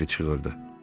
Harvi çığırırdı.